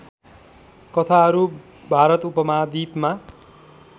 कथाहरू भारत उपमहाद्वीपमा